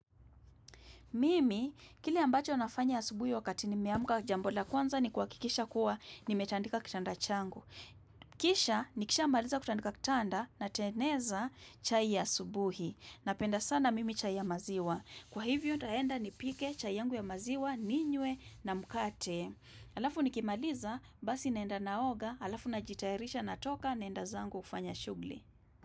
Mimi, kile ambacho nafanya asubuhi wakati nimeamka jambo la kwanza ni kuhakikisha kuwa nimetandika kitanda changu. Kisha, nikishamaliza kutandika kitanda natengeneza chai ya asubuhi. Napenda sana mimi chai ya maziwa. Kwa hivyo, nitaenda nipike chai yangu ya maziwa, ninywe na mkate. Alafu nikimaliza, basi naenda naoga, alafu najitayarisha natoka naenda zangu kufanya shughuli.